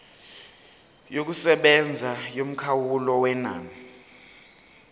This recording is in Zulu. yokusebenza yomkhawulo wenani